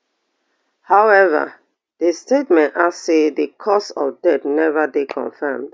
howeva di statement add say di cause of death neva dey confirmed